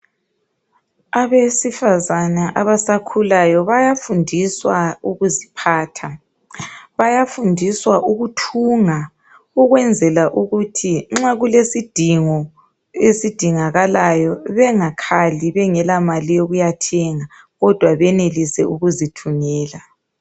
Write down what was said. Abesifazana abasakhulayo. Bayafundiswa ukuziphatha. Bayafundiswa ukuthunga. Ukwenzela ukuthi nxa kulesidingo esidingakalayo, bengakhali. Bengelamali yokuyathenga, kodwa benelise, ukuzithungela.